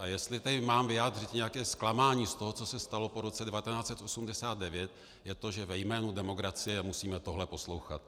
A jestli tady mám vyjádřit nějaké zklamání z toho, co se stalo po roce 1989, je to, že ve jménu demokracie musíme tohle poslouchat.